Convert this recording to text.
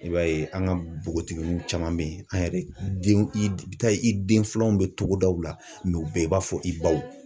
I b'a ye an ka npogotiginiw caman be yen, an yɛrɛ denw i bi taa ye, i den filananw bɛ togodaw la u bɛɛ i n'a fɔ i baw